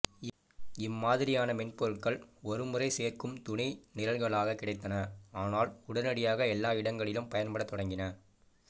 இம்மாதிரியான மென்பொருள்கள் ஒருமுறை சேர்க்கும் துணை நிரல்களாக கிடைத்தன ஆனால் உடனடியாக எல்லா இடங்களிலும் பயன்படத் தொடங்கின